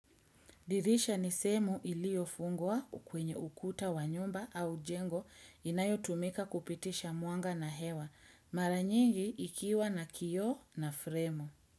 Dirisha ni sehemu iliofungwa kwenye ukuta wa nyumba au jengo inayotumika kupitisha mwanga na hewa. Mara nyingi ikiwa na kioo na fremu.